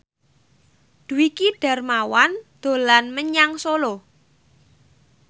Dwiki Darmawan dolan menyang Solo